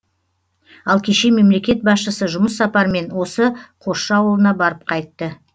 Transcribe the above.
ал кеше мемлекет басшысы жұмыс сапармен осы қосшы ауылына барып қайтты